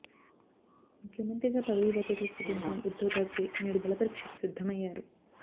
ముఖ్యమంత్రిగా పదవీ బాధ్యతలు స్వీకరించిన ఉద్దవ్ థాక్రే నేడు బలపరీక్షకు సిద్దమయ్యారు